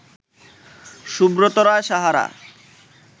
Subrata Roy Sahara